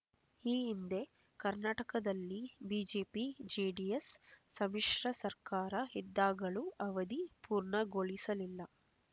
ಈ ಹಿಂದೆ ಕರ್ನಾಟಕದಲ್ಲಿ ಬಿಜೆಪಿಜೆಡಿಎಸ್ ಸಮ್ಮಿಶ್ರ ಸರ್ಕಾರ ಇದ್ದಾಗಲೂ ಅವಧಿ ಪೂರ್ಣಗೊಳಿಸಲಿಲ್ಲ